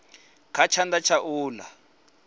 kha tshanḓa tsha u ḽa